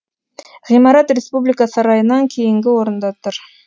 ғимарат республика сарайынан кейінгі орында тұр